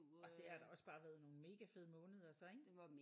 Og det har da også bare været nogle mega fede måneder så ik?